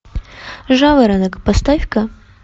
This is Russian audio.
жаворонок поставь ка